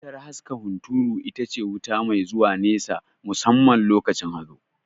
Wutar haska hunturu itace wuta mai zuwa nesa musamman lokacin hazo